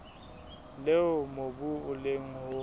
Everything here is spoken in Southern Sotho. leo mobu o leng ho